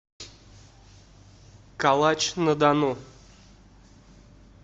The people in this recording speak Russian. калач на дону